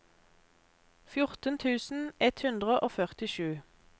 fjorten tusen ett hundre og førtisju